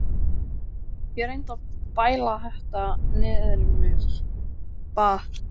Ég reyndi að bæla þetta niður í mér, bað